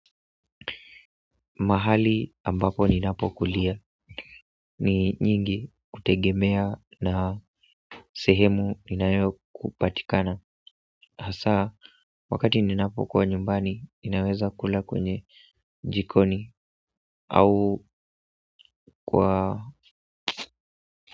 Mahali ambapo ninapo kulia ni nyingi kutegemea na sehemu ninayo kupatikana hasa wakati ninapokuwa nyumbani ninaweza kula kwenye jikoni au kwa.